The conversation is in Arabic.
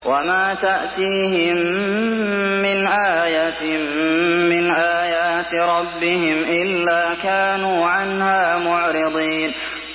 وَمَا تَأْتِيهِم مِّنْ آيَةٍ مِّنْ آيَاتِ رَبِّهِمْ إِلَّا كَانُوا عَنْهَا مُعْرِضِينَ